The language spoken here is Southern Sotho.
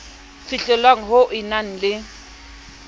fihlellwang ho e na le